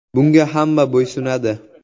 Bunga hamma bo‘ysunadi.